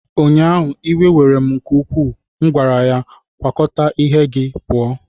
ụnyaahụ, iwe were m nke ukwuu, m gwara ya, kwakọta ihe gị pụọ!